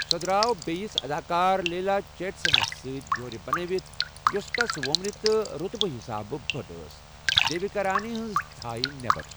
سۄ درٛاو بییِس اداكار لیلا چیٹسنس سۭتۍ جوٗرِ بنٲوِتھ ، یوسھٕ تس ومرِ تہٕ روطبہٕ حسابہٕ بٕڈ ٲس ، دیوِكا رانی ہنزِ ژھایہ نیبر۔